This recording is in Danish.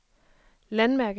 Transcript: landmærke